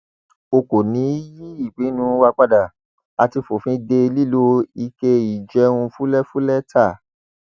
a kò ní í yí ìpinnu wa padà a ti fòfin de lílo ike ìjẹun fúlẹfúlẹ ta